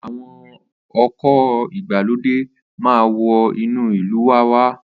Àwọn ọkọ̀ ìgbàlódé maa wọ inú ìlú wa wá.